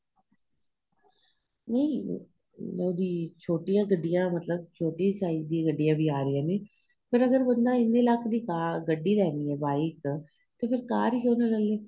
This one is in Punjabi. ਨਹੀਂ ਉਹਦੀ ਛੋਟੀਆਂ ਗੱਡੀਆਂ ਮਤਲਬ ਛੋਟੇ size ਦੀਆਂ ਵੀ ਗੱਡੀਆਂ ਆਂ ਰਹੀਆਂ ਨੇ ਅਗ਼ਰ ਬੰਦਾ ਇੰਨੇ ਲੱਖ ਦੀ ਗੱਡੀ ਲੈਣੀ ਏ bike ਤੇ ਫ਼ੇਰ ਕਾਰ ਹੀ ਕਿਉ ਨਾ ਲੈਲੇ